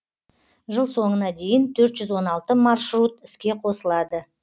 жыл соңына дейін төрт жүз он алты маршрут іске қосылады